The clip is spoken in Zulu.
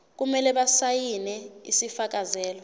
kumele basayine isifakazelo